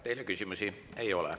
Teile küsimusi ei ole.